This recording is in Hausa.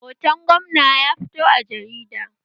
Hoton gwamna ya fito a jarida